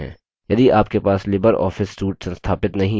यदि आपके पास लिबर ऑफिस suite संस्थापित नहीं है